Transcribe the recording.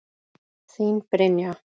Þín Brynja.